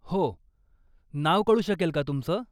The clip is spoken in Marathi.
हो, नाव कळू शकेल का तुमचं?